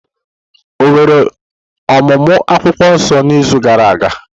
Ọ̀ nwere ọmụmụ akwukwuo nso n’izu gara aga?